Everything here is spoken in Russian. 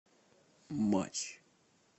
матч